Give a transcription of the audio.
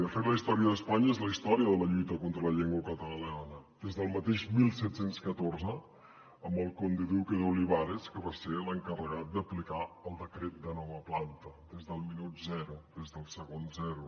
de fet la història d’espanya és la història de la lluita contra la llengua catalana des del mateix disset deu quatre amb el conde duque d’olivares que va ser l’encarregat d’aplicar el decret de nova planta des del minut zero des del segon zero